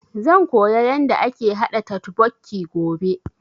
Zan koya yanda ake haɗa totbokki gobe